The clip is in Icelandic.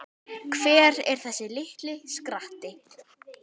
Hver er þessi litli skratti?